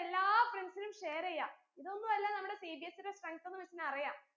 എല്ലാ friends നും share എയ്യ ഇതൊന്നു അല്ല നമ്മുടെ CBSE ടെ strength ന്ന് miss ന് അറിയാം